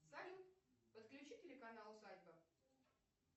салют подключи телеканал усадьба